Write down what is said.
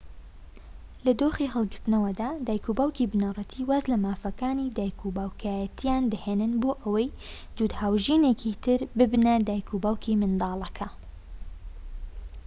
لە دۆخی هەڵگرتنەوەدا دایکوباوکی بنەڕەتی واز لەمافەکانی دایکوباوکێتییان دەهێنن بۆ ئەوەی جووت هاوژینێکی تر ببنە دایکوباوکی منداڵەکە